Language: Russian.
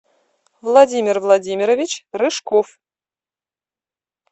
владимир владимирович рыжков